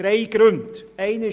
Ich nenne drei Gründe: